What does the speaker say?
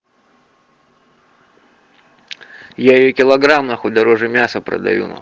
я её килограмм нахуй дороже мяса продаю на